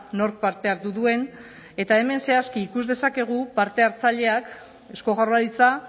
nork parte hartu duen eta hemen zehazki ikus dezakegu parte hartzaileak eusko jaurlaritza